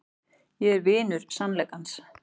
Ég er vinur sannleikans.